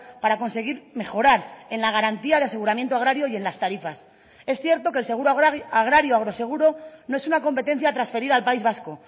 para conseguir mejorar en la garantía de aseguramiento agrario y en las tarifas es cierto que el seguro agrario agroseguro no es una competencia transferida al país vasco